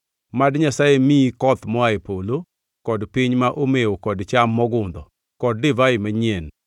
Mad Nyasaye miyi koth moa e polo kod piny ma omewo kod cham mogundho, kod divai manyien.